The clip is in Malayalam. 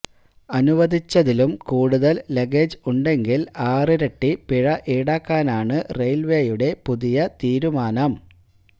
അനുവദിച്ചതിലും കൂടുതൽ ലഗേജ് ഉണ്ടെങ്കിൽ ആറിരട്ടി പിഴ ഈടാക്കാനാണ് റെയിൽവേയുടെ പുതിയ തീരുമാനം